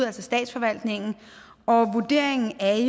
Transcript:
altså statsforvaltningen og vurderingen er